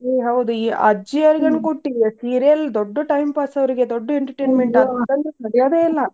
ಏ ಹೌದು ಈ ಅಜ್ಜಿಯರ್ ಏನ್ ಕೊಟ್ಟಿಯ serial ದೊಡ್ಡ್ time pass ಅವ್ರಗೆ ದೊಡ್ಡ್ entertainment ಸರಿಯದೆ ಇಲ್ಲ.